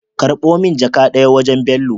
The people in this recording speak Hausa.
Karbo min jaka daya wajan bello